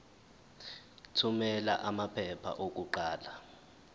thumela amaphepha okuqala